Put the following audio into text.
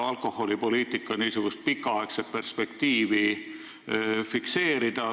Alkoholipoliitika pikaaegne perspektiiv tuleks ju fikseerida.